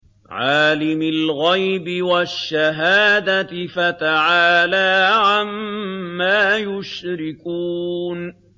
عَالِمِ الْغَيْبِ وَالشَّهَادَةِ فَتَعَالَىٰ عَمَّا يُشْرِكُونَ